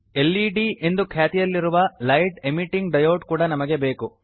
LED ಎಂದು ಖ್ಯಾತಿಯಲ್ಲಿರುವ light emitting diode ಕೂಡಾ ನಮಗೆ ಬೇಕು